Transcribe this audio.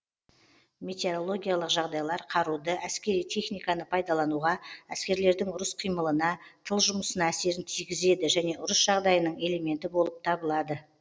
метеорологиялық жағдайлар қаруды әскери техниканы пайдалануға әскерлердің ұрыс қимылына тыл жұмысына әсерін тигізеді және ұрыс жағдайының элементі болып табылады